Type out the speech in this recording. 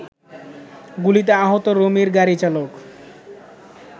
গুলিতে আহত রুমির গাড়িচালক